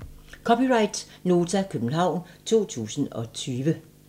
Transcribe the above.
(c) Nota, København 2020